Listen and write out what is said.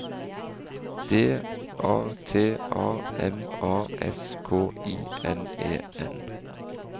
D A T A M A S K I N E N